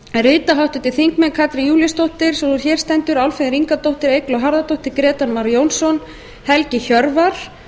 rita háttvirtir þingmenn katrín júlíusdóttir sú er hér stendur álfheiður ingadóttir eygló harðardóttir grétar mar jónsson og helgi hjörvar